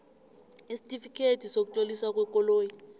isitifikhethi sokutloliswa kwekoloyi